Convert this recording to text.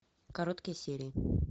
короткие серии